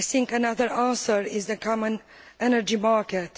Another answer is the common energy market.